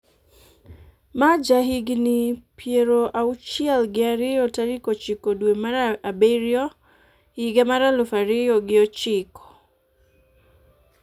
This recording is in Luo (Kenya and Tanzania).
ma ja higni piero auchiel gi ariyo tarik ochiko dwe mar abiriyo higa mar aluf ariyo gi ochiko